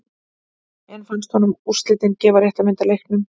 En fannst honum úrslitin gefa rétta mynd af leiknum?